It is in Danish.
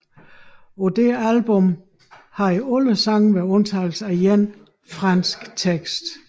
På dette album havde alle sange med undtagelse af én franske tekster